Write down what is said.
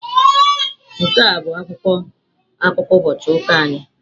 Nke a bụ akwụkwọ akụkọ ụbọchị ụka anyị.